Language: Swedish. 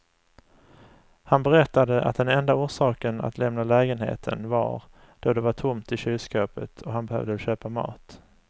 Han berättade att den enda orsaken att lämna lägenheten var då det var tomt i kylskåpet och han behövde köpa mat.